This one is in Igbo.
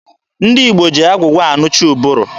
Ndị Igbo ji agwụgwa anụcha ụbụrụ.